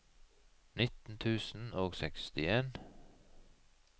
nitten tusen og sekstien